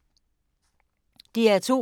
DR2